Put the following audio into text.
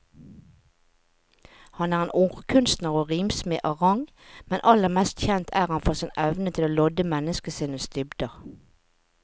Han er en ordkunstner og rimsmed av rang, men aller mest kjent er han for sin evne til å lodde menneskesinnets dybder.